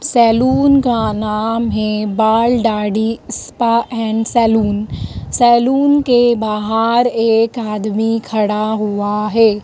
Salon का नाम है बाल दाढ़ी स्पा एंड सैलून सैलून के बाहर एक आदमी खड़ा हुआ है।